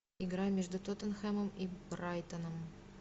игра между тоттенхэмом и брайтоном